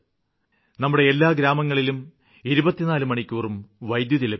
നമ്മുടെ എല്ലാ ഗ്രാമങ്ങളിലും 24 മണിക്കൂറും വൈദ്യുതി ലഭിക്കണം